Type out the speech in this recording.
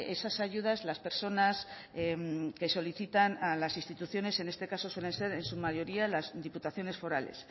esas ayudas las personas que solicitan a las instituciones en este caso suelen ser en su mayoría las diputaciones forales